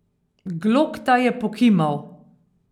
Glokta je pokimal.